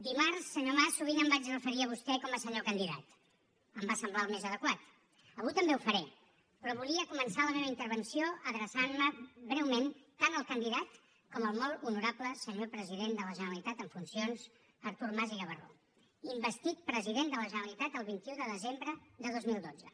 dimarts senyor mas sovint em vaig referir a vostè com a senyor candidat em va semblar el més adequat avui també ho faré però volia començar la meva intervenció adreçant me breument tant al candidat com al molt honorable senyor president de la generalitat en funcions artur mas i gavarró investit president de la generalitat el vint un de desembre de dos mil dotze